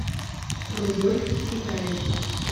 рудольф китаев